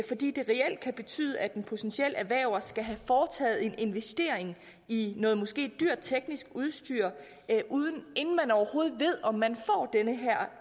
fordi det reelt kan betyde at en potentiel erhverver skal have foretaget en investering i noget måske dyrt teknisk udstyr inden man overhovedet ved om man får den her